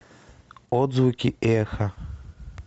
отзвуки эха